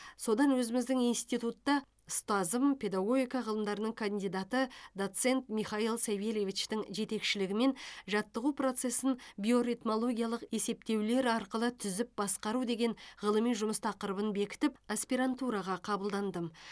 содан өзіміздің институтта ұстазым педагогика ғылымдарының кандидаты доцент михаил савельевичтің жетекшілігімен жаттығу процесін биоритмологиялық есептеулер арқылы түзіп басқару деген ғылыми жұмыс тақырыбын бекітіп аспирантураға қабылдандым